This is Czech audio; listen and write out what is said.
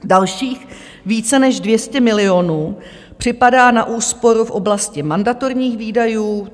Dalších více než 200 milionů připadá na úsporu v oblasti mandatorních výdajů.